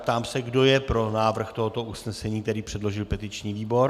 Ptám se, kdo je pro návrh tohoto usnesení, který předložil petiční výbor.